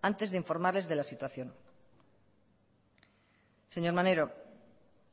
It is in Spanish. antes de informales de la situación señor maneiro